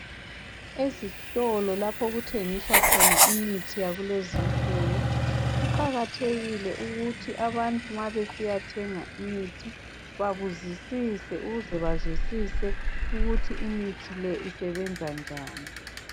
Ezitolo laph' okuthengiswa imithi yakulezinsuku, kuqakathekile ukuthi abantu nxa besiyathenga imithi babuzisise ukuze bazwisise ukuthi imithi leyi isebenza njani.